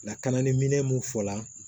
Lakanaliminɛn mun fɔla